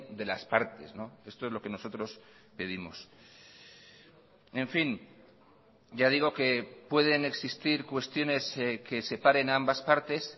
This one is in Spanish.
de las partes esto es lo que nosotros pedimos en fin ya digo que pueden existir cuestiones que separen a ambas partes